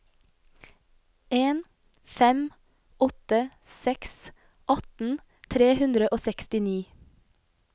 en fem åtte seks atten tre hundre og sekstini